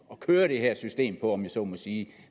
køre det her system på om jeg så må sige